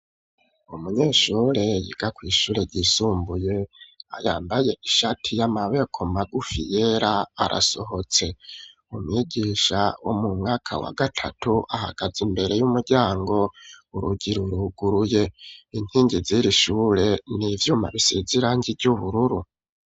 Umunyeshure yiga kw'ishure ryisumbuye yambaye ishati y'amaboko magufi yera arasohotse umwigisha wo mu mwaka wa gatatu ahagaze imbere y'umuryango urugi ruruguruye, inkingi ziri ishure n'ivyuma bisize irangi .